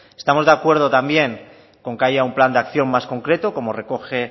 estamos de acuerdo también con que haya un plan de acción más concreto como recoge